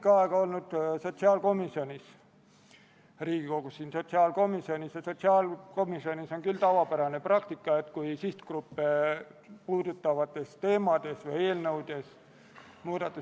Käesoleva aasta 5. novembril toimus riigikaitse- ja väliskomisjoni ühine väljasõiduistung Kaitseväe peastaapi, kus Kaitseväe esindajad andsid ülevaate missioonide piirkondades toimuvast.